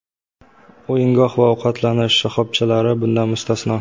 O‘yingoh va ovqatlanish shoxobchalari bundan mustasno.